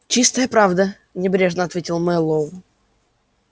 чистая правда небрежно ответил мэллоу